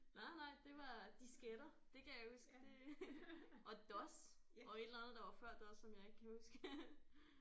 Nej nej det var disketter det kan jeg huske det og DOS og et eller andet der var før DOS som jeg ikke kan huske